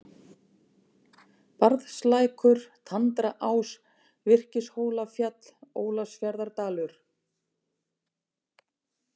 Barðslækur, Tandraás, Virkishólafjall, Ólafsfjarðardalur